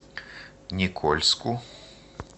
никольску